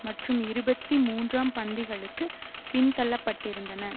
மற்றும் இருபத்தி மூன்றாம் பந்திகளுக்கு பின்தள்ளப்பட்டிருந்தன